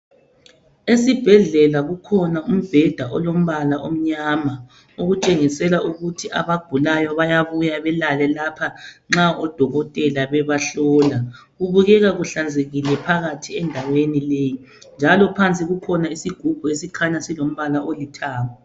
Esibhedlela kukhona umbeda olombala omnyama okuntshengisela ukuthi abagulayo bayabuya belale lapha nxa odokotela bebahlola kubukela kuhlanzekile phakathi endaweni leyi njalo phansi kukhona isigubhu esikhanya silo mbala olithanga